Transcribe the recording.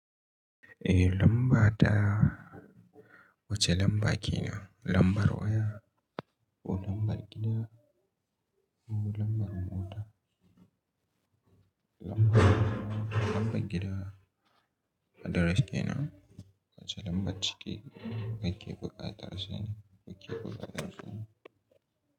Eh lamba ta wace lamba ke nan? Lambar waya ko lambar gida ko lambar mota? Lambar gida address ke nan wace lamba cike ake buƙatar asa ni ake buƙatar su?